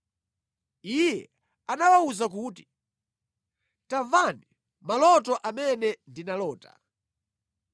Iye anawawuza kuti, “Tamvani maloto amene ndinalota: